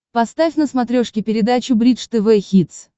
поставь на смотрешке передачу бридж тв хитс